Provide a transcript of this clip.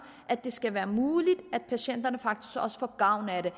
at det skal være muligt at patienterne faktisk også får gavn af det